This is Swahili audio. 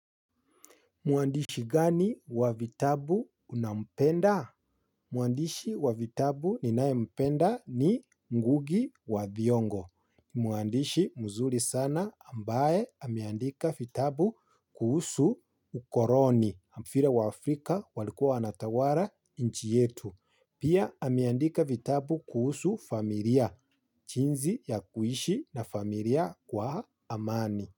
Mwandishi mgani wa vitabu unampenda? Mwandishi wa vitabu ninaye mpenda ni ngugi wa thiongo. Mwandishi mzuri sana ambaye ameandika vitabu kuhusu ukoloni. Vile wa Afrika walikua wanatawala nchi yetu. Pia ameandika vitabu kuhusu familia. Jiinsi ya kuishi na familia kwa amani.